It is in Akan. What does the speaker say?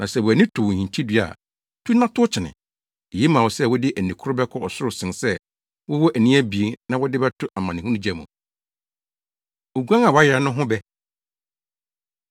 Na sɛ wʼani to wo hintidua a, tu na tow kyene. Eye ma wo sɛ wode ani koro bɛkɔ ɔsoro sen sɛ wowɔ ani abien na wɔde wo bɛto amanehunu gya mu. Oguan A Wayera No Ho Bɛ